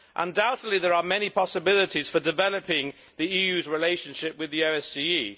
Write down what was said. Undoubtedly, there are many possibilities for developing the EU's relationship with the OSCE.